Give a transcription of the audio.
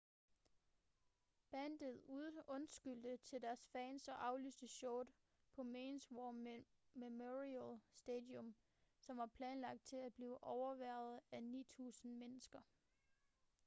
bandet undskyldte til deres fans og aflyste showet på mauis war memorial stadium som var planlagt til at blive overværet af 9.000 mennesker